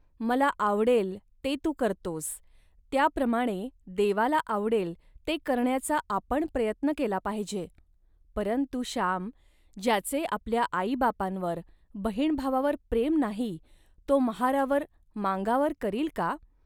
मला आवडेल, ते तू करतोस, त्याप्रमाणे देवाला आवडेल, ते करण्याचा आपण प्रयत्न केला पाहिजे, परंतु, श्याम. ज्याचे आपल्या आईबापांवर, बहीणभावावर प्रेम नाही, तो महारावर, मांगावर करील का